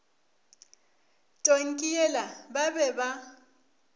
tonki yela ba be ba